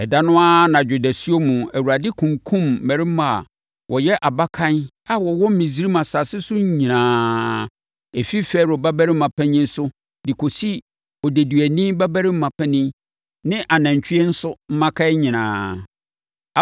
Ɛda no ara anadwo dasuo mu Awurade kunkumm mmarimaa a wɔyɛ abakan a wɔwɔ Misraim asase so nyinaa, ɛfiri Farao babarima panin so kɔsi odeduani babarima panin ne anantwie nso mmakan nyinaa.